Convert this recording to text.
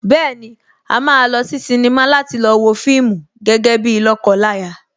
Bẹ́ẹ̀ni, a máa lọ sí sínímà láti lọ wo fíìmù gẹ́gẹ́ bíi lọ́kọ láya